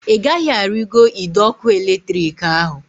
Ị gaghị arigoro ide ọkụ eletrik ahu!